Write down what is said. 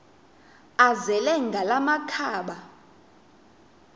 azele ngala makhaba